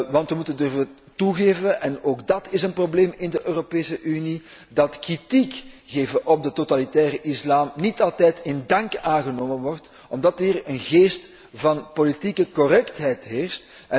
Want we moeten durven toegeven en ook dat is een probleem in de Europese Unie dat kritiek geven op de totalitaire islam niet altijd in dank afgenomen wordt omdat hier een geest van politieke correctheid heerst.